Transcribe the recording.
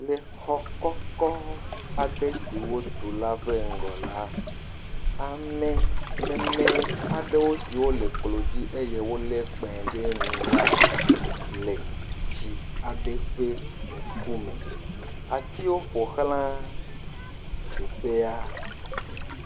Le xɔ kɔkɔ aɖe si wotu la ƒe ŋgɔ la ame meme aɖe siwo le klo dzi eye wolé kpẽ ɖe nu la le tsi aɖe ƒe ŋkume, atiwo ƒoxla teƒea.